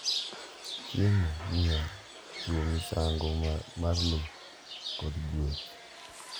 Chiemo, miel, chiwo misango mar le, kod gueth.